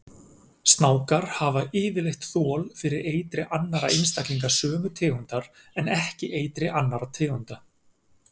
Snákar hafa yfirleitt þol fyrir eitri annarra einstaklinga sömu tegundar en ekki eitri annarra tegunda.